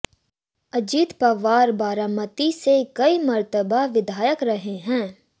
अजित पवार बारामती से कई मर्तबा विधायक रहे हैं